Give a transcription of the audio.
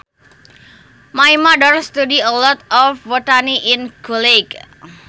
My mother study a lot of botany in college